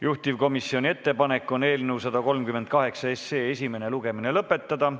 Juhtivkomisjoni ettepanek on eelnõu 138 esimene lugemine lõpetada.